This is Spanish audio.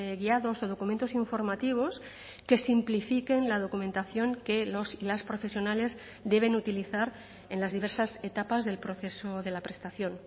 guiados o documentos informativos que simplifiquen la documentación que los y las profesionales deben utilizar en las diversas etapas del proceso de la prestación